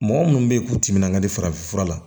Mɔgɔ minnu bɛ yen k'u timinan ka di farafin fura la